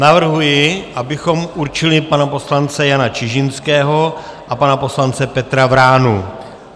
Navrhuji, abychom určili pana poslance Jana Čižinského a pana poslance Petra Vránu.